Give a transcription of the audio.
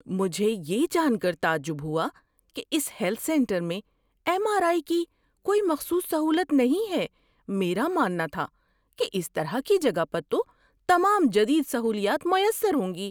مجھے یہ جان کر تعجب ہوا کہ اس ہیلتھ سنٹر میں ایم آر آئی کی کوئی مخصوص سہولت نہیں ہے۔ میرا ماننا تھا کہ اس طرح کی جگہ پر تو تمام جدید سہولیات میسر ہوں گی۔